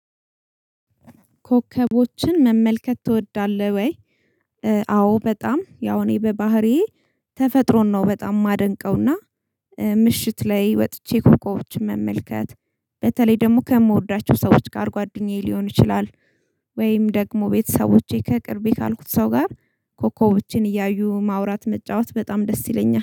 ኮከቦችን መመልከት ትወዳለህ ወይ? አዎ በጣም ያው እኔ በባህሪዬ ተፈጥሮን ነው በጣም የማደንቀውና ምሽት ላይ ወጥቼ ኮኮቦችን መመልከት በተለይ ደግሞ ከምወዳቸው ሰዎች ጋር ጓደኛዬ ሊሆን ይችላል ወይም ደግሞ ቤተሰቦቼ ከቅርቤ ካልኩት ሰው ጋር ኮኮቦችን እያዩ ማውራት መጫወት በጣም ደስ ይለኛል